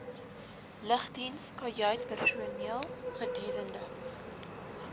lugdiens kajuitpersoneel gedurende